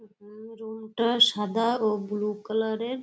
উম room -টা সাদা ও ব্লু কালার -এর।